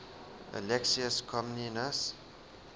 alexius comnenus